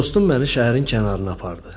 Dostum məni şəhərin kənarına apardı.